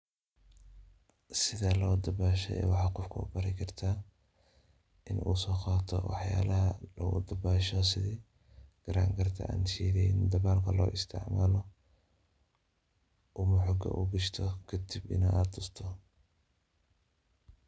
Sethee lo dabashoo waxa Qoofka u bari kartah inu u soqaatoh waxyalaha lagu dabaasho sethi, karagrata an sheethaen dabalka lo isticmaloh wa xuu kashtoh kadib AA tusstoh .